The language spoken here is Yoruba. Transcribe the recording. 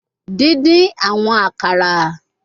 Din-din awọn akara